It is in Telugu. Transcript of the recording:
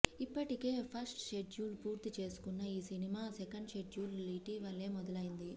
ఇప్పటికే ఫస్ట్ షెడ్యూల్ పూర్తి చేసుకున్న ఈ సినిమా సెకండ్ షెడ్యూల్ ఇటీవలే మొదలైంది